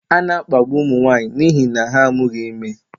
A na-akpagbu ụmụ nwanyị n'ihi na ha amụghị ime.